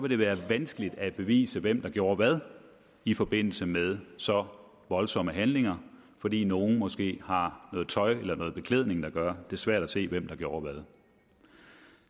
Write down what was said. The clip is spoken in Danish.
det være vanskeligt at bevise hvem der gjorde hvad i forbindelse med så voldsomme handlinger fordi nogle måske har noget tøj eller beklædning der gør det svært at se hvem der gjorde hvad